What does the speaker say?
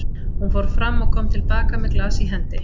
Hún fór fram og kom til baka með glas í hendi.